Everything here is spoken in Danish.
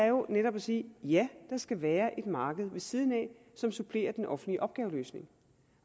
jo netop sige ja der skal være et marked ved siden af som supplerer den offentlige opgaveløsning